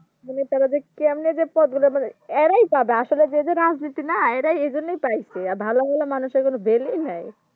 মানে তারা যে কেমনে যে পদগুলো মানে এরাই পাবে আসলে যে যে রাজনীতি না এরা এইজন্যেই পেয়েছে আর ভালো ভালো মানুষের কোনো Value নাই